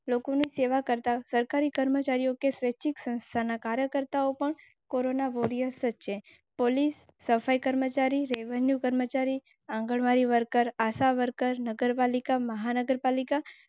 સેવા કરતાં સરકારી કર્મચારીઓ સ્વૈચ્છિક સંસ્થાના કાર્યકર્તાઓ, કોરોના વોરિયર્સ. કર્મચારી રેવન્યૂ કર્મચારી આંગણવાડી વર્કર, આશાવર્કર નગરપાલિકા મહાનગરપાલિકા.